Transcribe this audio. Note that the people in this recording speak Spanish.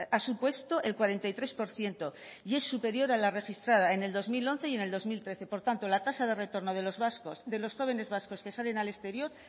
ha supuesto el cuarenta y tres por ciento y es superior a la registrada en el dos mil once y en el dos mil trece por tanto la tasa de retorno de los vascos de los jóvenes vascos que salen al exterior